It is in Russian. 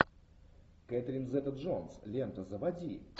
кэтрин зета джонс лента заводи